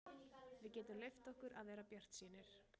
Við getum leyft okkur að vera bjartsýnir.